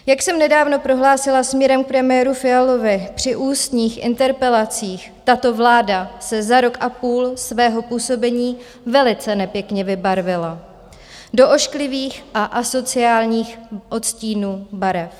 Jak jsem nedávno prohlásila směrem k premiéru Fialovi při ústních interpelacích, tato vláda se za rok a půl svého působení velice nepěkně vybarvila do ošklivých a asociálních odstínů barev.